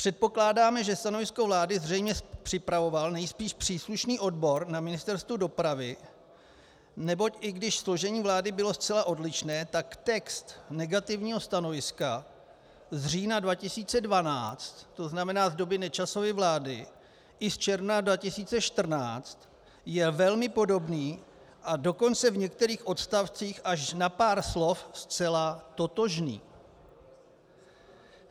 Předpokládáme, že stanovisko vlády zřejmě připravoval nejspíš příslušný odbor na Ministerstvu dopravy, neboť i když složení vlády bylo zcela odlišné, tak text negativního stanoviska z října 2012, to znamená z doby Nečasovy vlády, i z června 2014 je velmi podobný, a dokonce v některých odstavcích až na pár slov zcela totožný.